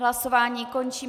Hlasování končím.